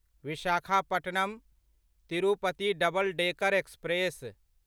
Visakhapatnam Tirupati double decker express